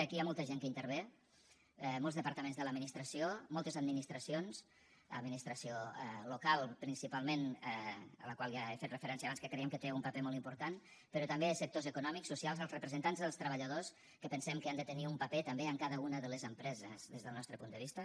aquí hi ha molta gent que hi intervé molts departaments de l’administració moltes administracions administració local principalment a la qual ja he fet referència abans que creiem que té un paper molt important però també sectors econòmics socials els representants dels treballadors que pensem que han de tenir un paper també en cada una de les empreses des del nostre punt de vista